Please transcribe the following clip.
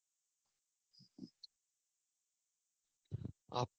આપ